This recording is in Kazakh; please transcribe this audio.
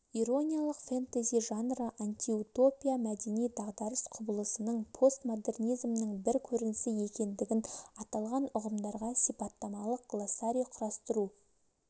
ирониялық фентези жанры антиутопия мәдени дағыдарыс құбылысының постмодернизмнің бір көрінісі екендігін аталған ұғымдарға сипаттамалық глоссарий құрастыру